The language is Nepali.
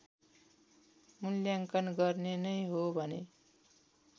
मुल्याङ्कन गर्ने नै हो भने